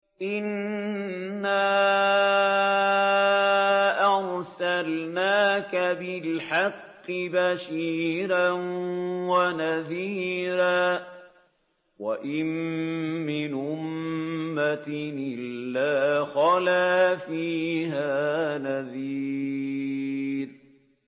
إِنَّا أَرْسَلْنَاكَ بِالْحَقِّ بَشِيرًا وَنَذِيرًا ۚ وَإِن مِّنْ أُمَّةٍ إِلَّا خَلَا فِيهَا نَذِيرٌ